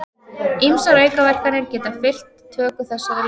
Ýmsar aukaverkanir geta fylgt töku þessara lyfja.